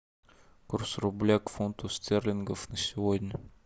курс рубля к фунту стерлингов на сегодня